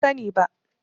Ban sani ba.